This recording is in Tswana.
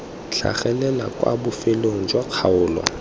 tlhagelela kwa bofelong jwa kgaolo